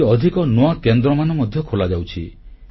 ଆହୁରି ଅଧିକ ନୂଆ କେନ୍ଦ୍ରମାନ ମଧ୍ୟ ଖୋଲାଯାଉଛି